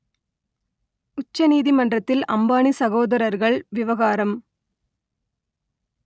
உச்ச நீதிமன்றத்தில் அம்பானி சகோதரர்கள் விவகாரம்